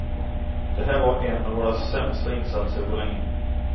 Det här var en av våra sämsta insatser på länge.